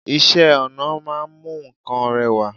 Isẹ́ ọnà ma n mu nkan rewa